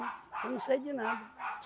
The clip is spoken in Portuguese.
Eu não sei de nada.